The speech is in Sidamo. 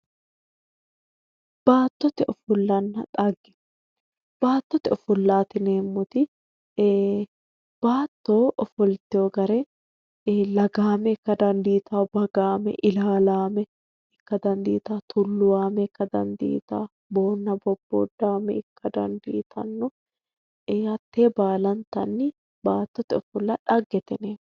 Baattote ofollanna xagge baattote ofollaati yineemmoti baatto ofoltino gari lagaame ikka dandiitawoo bagaame ilaalaame ikka dandiitawoo tulluwaame ikka dandiitawoo boonna bobbooddaame ikka dandiitanno hattee baalantanni baattote ofolla xaggeeti yineemmo